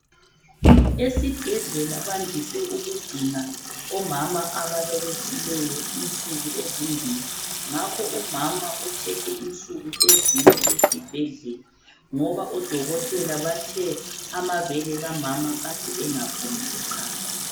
Esibhedlela bandise ukugcina omama ababelethileyo insuku ezimbili. Ngakho umama uthethe insuku ezine esibhedlela ngoba odokotela bathe amabele kamama kade engaphumi uchago.